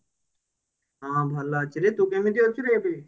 ହଁ ଭଲ ଅଛିରେ ତୁ କେମିତି ଅଛୁ ରେ